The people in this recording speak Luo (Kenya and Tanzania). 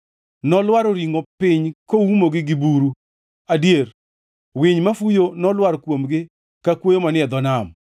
Nolwaro ringʼo piny kuomgi ka buru, adier, winy mafuyo nolwar kuomgi ka kwoyo manie dho nam.